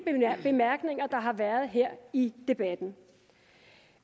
bemærkninger der har været her i debatten